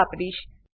પણ વાપરીશ